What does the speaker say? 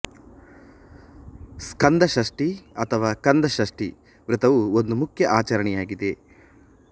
ಸ್ಕಾಂದ ಷಷ್ಠಿ ಅಥವಾ ಕಾಂದ ಷಷ್ಠಿ ವ್ರತವು ಒಂದು ಮುಖ್ಯ ಆಚರಣೆಯಾಗಿದೆ